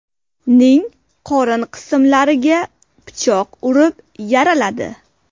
ning qorin qismlariga pichoq urib, yaraladi.